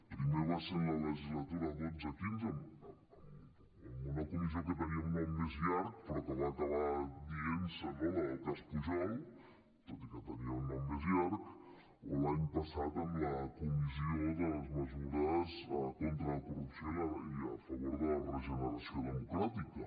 primer va ser en la legislatura dotze quinze amb una comissió que tenia un nom més llarg però que va acabar dient se la del cas pujol tot i que tenia un nom més llarg o l’any passat amb la comissió de les mesures contra la corrupció i a favor de la regeneració democràtica